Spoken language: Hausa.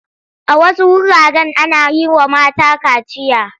A wasu wuraren ana yi wa mata kaciya.